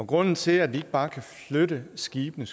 grunden til at vi ikke bare kan flytte skibene